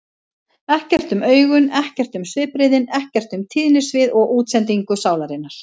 Ekkert um augun, ekkert um svipbrigðin, ekkert um tíðnisvið og útsendingu sálarinnar.